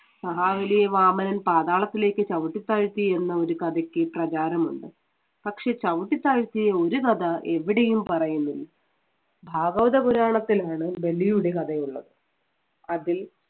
മഹാബലിയെ വാമനൻ പാതാളത്തിലേക്ക് ചവിട്ടി താഴ്ത്തി എന്ന ഒരു കഥയ്ക്ക് പ്രചാരമുണ്ട്. പക്ഷേ ചവിട്ടിത്താഴ്ത്തിയ ഒരു കഥ എവിടെയും പറയുന്നില്ല. ഭാഗവത പുരാണത്തിൽ ആണ് ബലിയുടെ കഥയുള്ളത്. അതിൽ